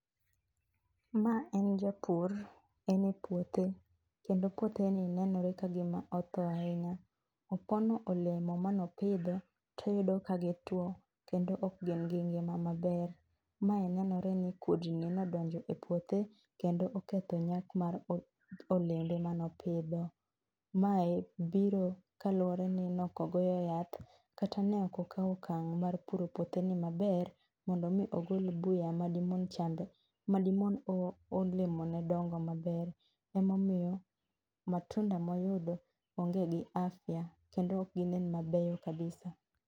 Ma en japur ene puothe kendo puothe ni nenore ka gima othoo ahinya. Opono olemo mane opidho to oyudo ka gi two kendo ok gin gi ngima maber. Mae nenore ni kudni no odonje epuothe kendo oketho nyak mar olembe mane opidho. Mae biro kaluore ni ok ogoyo yath kata ne ok okawo okang' mar puro puotheni maber mondo mi ogol buya madi mon cham madi mon olemone dongo maber. Ema omiyo matunda mo oyudo onge gi afya kendo ok gi nen mabeyo kabisa.